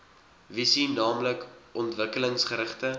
visie naamlik ontwikkelingsgerigte